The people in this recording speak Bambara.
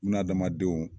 Bunahadamadenw